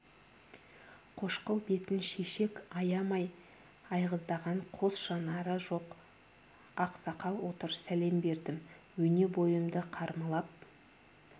қошқыл бетін шешек аямай айғыздаған қос жанары жоқ ақсақал отыр сәлем бердім өне бойымды қармалап